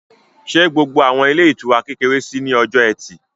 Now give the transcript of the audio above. Ṣé gbogbo àwọn ilé ìtura kékeré ṣí ní ọjọ́ ẹtì?